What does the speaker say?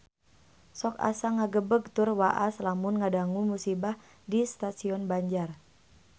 Sok asa ngagebeg tur waas lamun ngadangu musibah di Stasiun Banjar